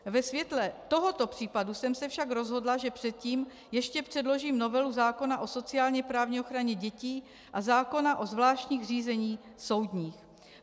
Ve světle tohoto případu jsem se však rozhodla, že předtím ještě předložím novelu zákona o sociálně-právní ochraně dětí a zákona o zvláštních řízeních soudních.